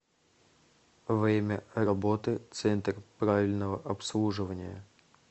время работы центр правильного обслуживания